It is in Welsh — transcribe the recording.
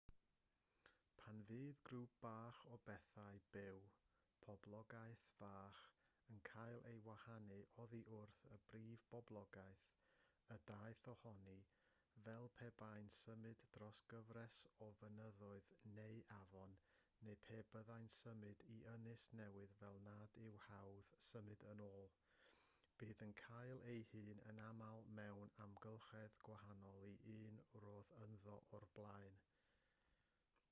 pan fydd grŵp bach o bethau byw poblogaeth fach yn cael ei wahanu oddi wrth y brif boblogaeth y daeth ohoni fel pe bai'n symud dros gyfres o fynyddoedd neu afon neu pe byddai'n symud i ynys newydd fel nad yw'n hawdd symud yn ôl bydd yn cael ei hun yn aml mewn amgylchedd gwahanol i'r un roedd ynddo o'r blaen